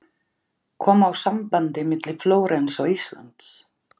Koma á sambandi milli Flórens og Íslands.